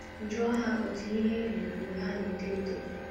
Jụọ ha otú ihe dị mgbe ha na-eto eto.